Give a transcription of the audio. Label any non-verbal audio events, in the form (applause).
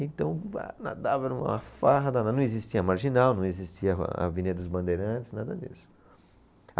Então, ba nadava era uma farra danada, não existia Marginal, não existia (unintelligible) Avenida dos Bandeirantes, nada disso.